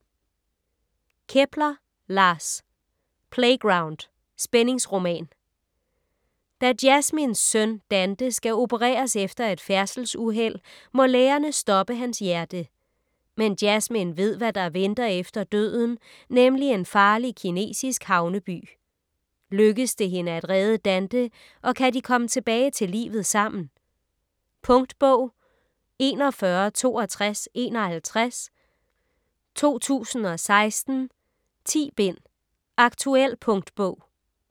Kepler, Lars: Playground: spændingsroman Da Jasmins søn Dante skal opereres efter et færdselsuheld, må lægerne stoppe hans hjerte. Men Jasmin ved hvad der venter efter døden, nemlig en farlig, kinesisk havneby. Lykkes det hende at redde Dante, og kan de komme tilbage til livet sammen? Punktbog 416251 2016. 10 bind. Aktuel punktbog